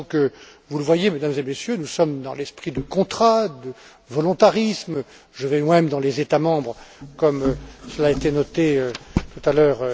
Donc, vous le voyez, Mesdames et Messieurs, nous sommes dans l'esprit de contrat, de volontarisme. Je vais moi même dans les États membres, comme cela a été noté tout à l'heure.